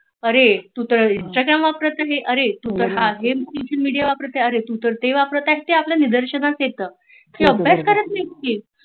अरे तु तर इंस्टाग्राम वापरत आहे अरे तु तर हे वापरत आहे अरे तु तर सोशल मिडीया वापरत आहे अरे तु तर ते वापरत आहे हे आपल्या निदर्शनात येत अभ्यास नाही करत ती